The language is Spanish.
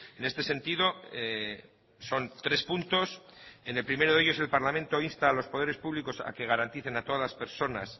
en este sentido son tres puntos en el primero de ellos el parlamento insta a los poderes públicos a que garanticen a todas las personas